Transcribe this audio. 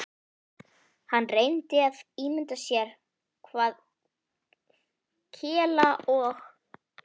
Hann reyndi að ímynda sér hvað Kela og